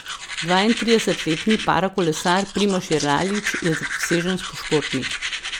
Dvaintridesetletni parakolesar Primož Jeralič je zaprisežen športnik.